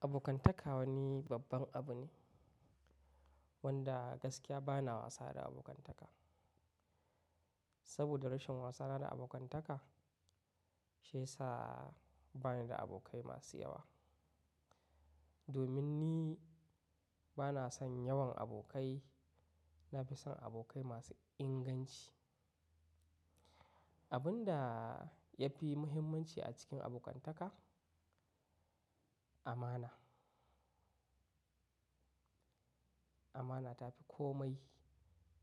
Abokantaka wani babban abu ne wanda gaskiya bana wasa da abokantaka. Saboda rashin wasana da abokantaka, shi ya sa bani da abokai masu yawa. Domin ni bana son yawan abokai, na fi son abokai masu inganci. Abun da ya fi muhimmanci a cikin abokantaka, amana. Amana ta fi komai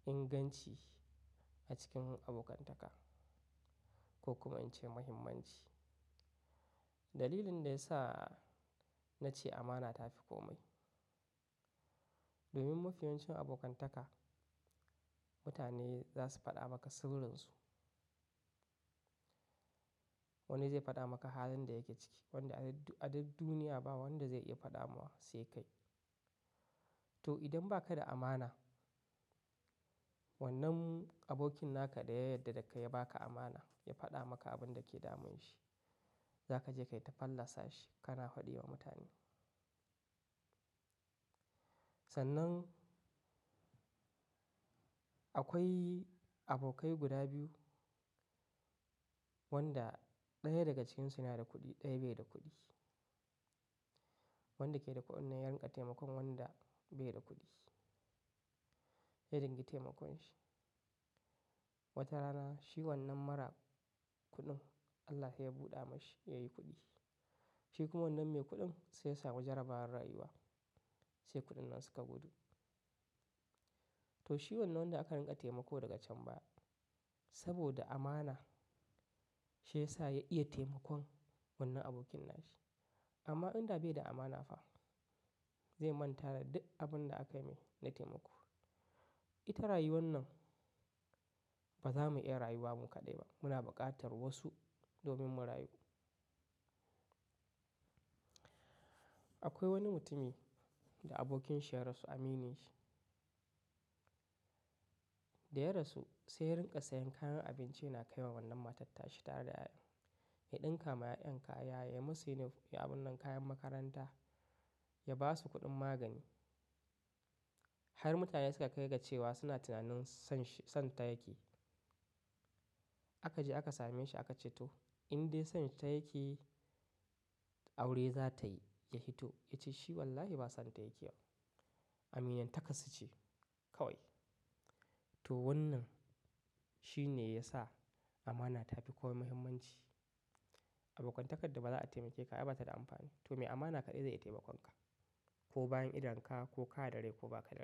inganci a cikin abokantaka ko kuma in ce muhimmanci. Dalilin da ya sa na ce amana ta fi komai, domin mafi yawancin abokantaka, mutane za su faɗa maka sirrinsa. Wani zai faɗa maka hazar da yake ciki, wanda a duk duniya ba wanda zai iya faɗa ma sai kai. To idan baka da amana, wannan abokin naka da ya yadda da kai ya baka amana ya faɗa maka abin da ke damun shi, za ka je ka yi ta fallasa shi kana faɗi wa mutane. Sannan, akwai abokai guda biyu, wanda ɗaya daga cikinsu na da kuɗi ɗaya bai da kuɗi. Wanda ke da kuɗin ya riƙa taimakon wanda bai da kuɗi, ya dingi taimakon shi. Wata rana shi wannan mara kuɗin Allah sai ya buɗe mashi ya yi kuɗi. Shi kuma wannan mai kuɗin sai ya samu jarabar rayuwa sai kuɗin nan suka gudu. To shi wannan da aka riƙa taimako daga can baya saboda amana, shi ya sa ya iya taimakon wannan abokin nashi. Amma in da bai da amana fa zai manta da duk abin da aka yi mai na taimako. Ita rayuwan nan ba za mu iya rayuwa mu kaɗai ba. Muna buƙatar wasu domin mu rayu. Akwai wani mutumi da abokin shi ya rasu aminin shi. Da ya rasu sai ya rinƙa sayan kayan abinci yana kai wa wannan matan ta shi tare da 'ya'yan. Ya ɗinka ma 'ya'yan kaya, ya musu yin abu nan kayan makaranta, ya ba su kuɗin magani. Har mutane suka kai ga cewa suna tunanin son shi, son ta yake. A ka je aka same shi aka ce to, in dai son ta yake aure za ta yi, ya hito ya ce shi wallahi ba son ta yake ba. Aminiyan takarsu ce kawai. To wannan shi ne ya sa amana ta fi komai muhimmanci. Abokantakar da ba za a taimake ka ba bata da amfani. To me amana kaɗai zai iya taimakon ka. Ko bayan idon ka, ko ka da rai ko ba ka da rai.